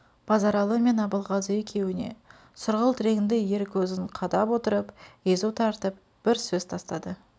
базаралы мен абылғазы екеуіне сұрғылт ренді ер көзін қадап отырып езу тартып бір сөз тастады